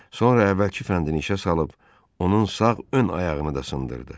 Sonra əvvəlki fəndini işə salıb onun sağ ön ayağını da sındırdı.